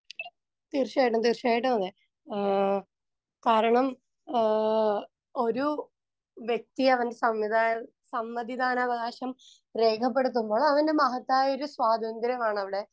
speaker 1 തീർച്ചയായിട്ടും തീർച്ചയായിട്ടും അതെ ആഹ് കാരണം ആഹ് ഒരു വ്യക്തിയവൻ സംവിധായ സമ്മതിദാനാവകാശം രേഖപ്പെടുത്തുമ്പോ അവന് മഹത്തായൊരു സ്വാതന്ത്ര്യമാണവിടെ